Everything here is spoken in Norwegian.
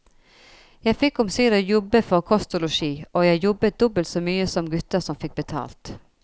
Jeg fikk omsider jobbe for kost og losji, og jeg jobbet dobbelt så mye som gutter som fikk betalt.